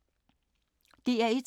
DR1